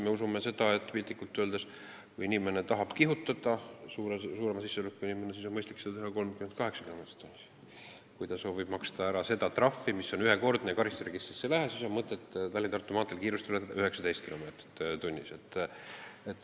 Me usume seda, piltlikult öeldes, et kui suurema sissetulekuga inimene tahab kihutada, siis on tal mõistlik kiirust ületada kuni 38 kilomeetrit tunnis, kui ta soovib, et trahv oleks ühekordne ja karistusregistrisse ei läheks, siis on mõtet Tallinna–Tartu maanteel kiirust ületada 19 kilomeetrit tunnis.